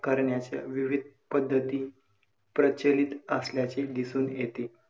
करण्याच्या विविध पध्दती प्रचलित असल्याचे दिसून येते.